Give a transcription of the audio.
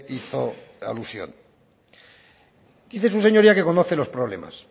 hizo alusión dice su señoría que conoce los problemas